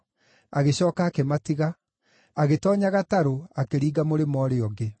Agĩcooka akĩmatiga, agĩtoonya gatarũ akĩringa mũrĩmo ũrĩa ũngĩ.